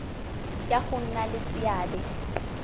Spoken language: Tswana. ya go nna le seabe